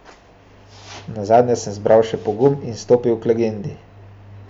Nazadnje sem zbral še pogum in stopil k legendi.